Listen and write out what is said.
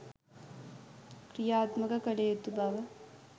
ක්‍රියාත්මක කළ යුතු බව